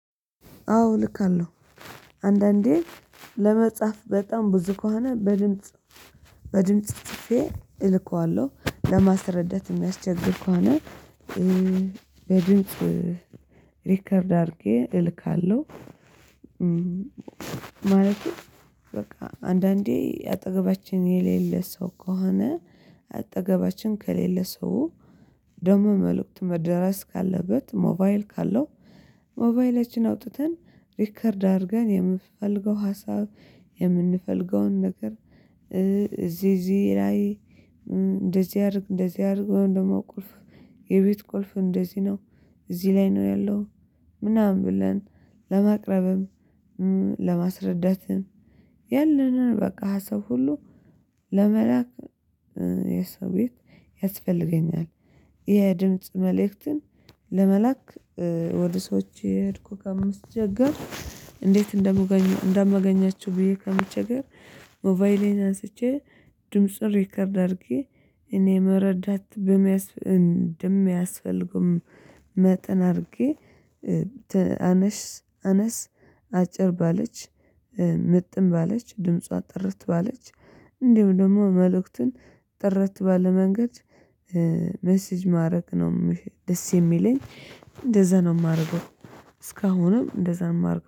አዎ ልካለሁ አንዳንዴ ለመጻፍ በጣም ብዙ ከሆነ በድምጽ በድምጽ ጽፌ እልካዋለሁ ለማስረዳት የሚያስቸግር ከሆነ በድምጽ ሪከርድ አድርጌ እልካለሁ። ማለቴ በቃ አንዳንዴ አጠገባችን የሌለ ሰው ከሆነ አጠገባችን ከሌለ ሰው ደግሞ መልእክቱ መደረስ ካለበት ሞባይል ካለው ሞባይላችን አውጥተን ሪከርድ አድርገን የምፈልገው ሀሳብ የምንፈልገውን ነገር እዚህ እዚህ ላይ እንደዚህ አድርግ እንደዚህ አድርግ ወይም ደግሞ ቁልፍ የቤት ቁልፍ እንደዚህ ነው። እዚህ ላይ ነው ያለው ምናምን ብለን ለማቅረብም ለማስረዳትም በቃ ሀሳብ ሁሉ ለመላክ የሰው ቤት ያስፈልገኛል። ይሄ ድምጽ መልእክትን ለመላክ ወደ ሰዎች እየሄድኩ ከምትቸገር እንዴት እንደማገኛቸው ብዬ ከምትቸገር ሞባይሌን አንስቼ ድምጽ ሪከርድ አድርጌ እኔ መረዳት በሚያስ እንደሚያስፈልገው መጠን አድርጌ አነስ አነስ አጭር ባለች ምጥን ባለች ድምጿ ጥርት ባለች እንዲሁ ደግሞ መልእክቱን ጥርት ባለ መንገድ ሜሲጅ ማድረግ ነው። ደስ የሚለኝ እንደዛ ነው የማደርገው። እስካሁንም እንደዛ ነው የማደርገው